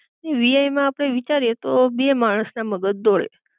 ને વીઆઈ માં આપડે વિચારીએ તો બે માણસ ના મગજ દોડે